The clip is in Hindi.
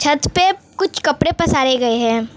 छत पे कुछ कपड़े पसारे गए हैं।